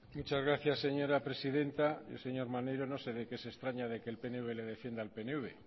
muchas gracias señora presidenta el señor maneiro no sé de qué se extraña de que el pnv le defienda al pnv